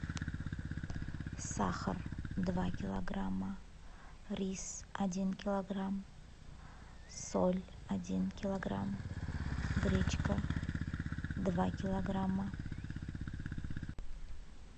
сахар два килограмма рис один килограмм соль один килограмм гречка два килограмма